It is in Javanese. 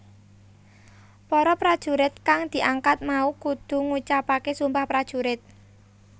Para prajurit kang diangkat mau kudu ngucapaké Sumpah Prajurit